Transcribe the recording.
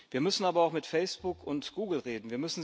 Wir müssen aber auch mit Facebook und Google reden.